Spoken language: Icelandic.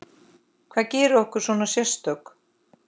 Hvað gerir okkur svona sérstök?